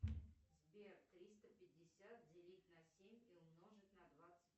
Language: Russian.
сбер триста пятьдесят делить на семь и умножить на двадцать